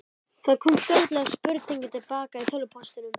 Það kom fljótlega spurning til baka í tölvupóstinum.